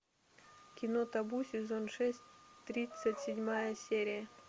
кино табу сезон шесть тридцать седьмая серия